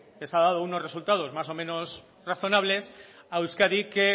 les ha dado unos resultados más o menos razonables a euskadi que